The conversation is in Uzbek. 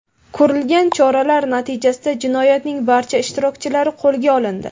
Ko‘rilgan choralar natijasida jinoyatning barcha ishtirokchilari qo‘lga olindi.